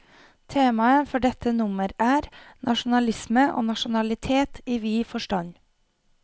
Temaet for dette nummer er, nasjonalisme og nasjonalitet i vid forstand.